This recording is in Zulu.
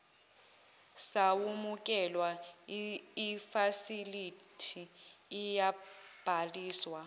samukelwa ifasilithi iyabhaliswa